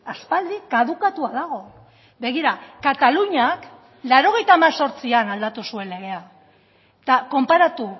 aspaldi kadukatua dago begira kataluniak laurogeita hemezortzian aldatu zuen legea eta konparatu